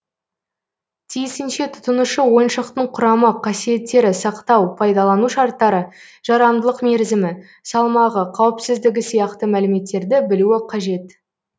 тиісінше тұтынушы ойыншықтың құрамы қасиеттері сақтау пайдалану шарттары жарамдылық мерзімі салмағы қауіпсіздігі сияқты мәліметтерді білуі қажет